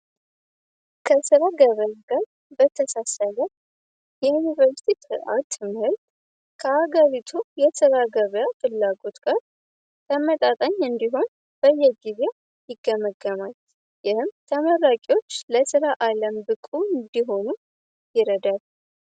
ከሥራ ገበያ ጋር በተሳሳያለ የዩኒቨርሲቲ ርዓት ምህልድ ከአጋሪቱ የሥራ ገበያ ፍላጎት ጋር ተመጣጠኝ እንዲሆን በየግቢያ ይገመገማል ይህም ተመራቂዎች ለሥራ ዓለም ብቁ እንዲሆኑ ይረዳል።